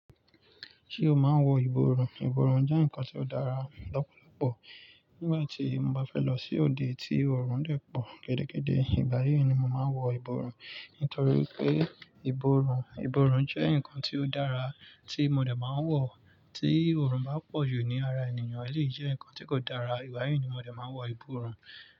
Ṣé o máa ń wọ ìborùn? Ìborùn jẹ́ nǹkan tí ó dára lọ́pọ̀lọ́pọ̀. Nígbà tí mo bá fẹ́ lọ sí òde tí òrùn dè pọ̀ gidigidi, ìgbà yí ni mo màá wọ ìborùn. Nítorí pé, ìborùn, ìborùn jẹ́ ǹkan tí ó dára tí mo dè máa ń wọ̀. Tí òrùn bá pọ̀jù ní ara ènìyàn, ẹleyi jẹ́ ǹkan tí kò dára, ìgbà yí ni mòdè máa wọ ìborùn.